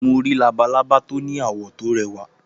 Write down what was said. Mo rí labalábá tó ní àwọ̀ tó rẹwá.